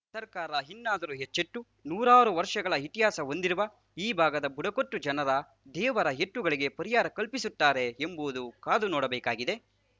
ಸರ್ಕಾರ ಇನ್ನಾದರೂ ಎಚ್ಚೆತ್ತು ನೂರಾರು ವರ್ಷಗಳ ಇತಿಹಾಸ ಹೊಂದಿರುವ ಈ ಭಾಗದ ಬುಡಕಟ್ಟು ಜನರ ದೇವರ ಎತ್ತುಗಳಿಗೆ ಪರಿಹಾರ ಕಲ್ಪಿಸುತ್ತಾರೆ ಎಂಬುವುದು ಕಾದು ನೋಡಬೇಕಾಗಿದೆ